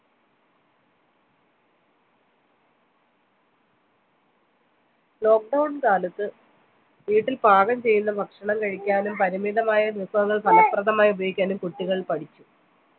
lockdown കാലത്ത് വീട്ടിൽ പാകം ചെയ്യുന്ന ഭക്ഷണം കഴിക്കാനും പരിമിതമായ വിഭവങ്ങൾ ഫലപ്രദമായി ഉപയോഗിക്കാനും കുട്ടികൾ പഠിച്ചു